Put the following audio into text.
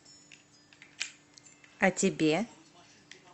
а тебе